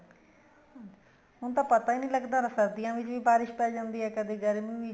ਹੁਣ ਪਤਾ ਹੀ ਨਹੀਂ ਲੱਗਦਾ ਸਰਦੀਆਂ ਵਿੱਚ ਬਾਰਿਸ ਪੇ ਜਾਂਦੀ ਆ ਕਦੇ ਗਰਮੀ ਵਿੱਚ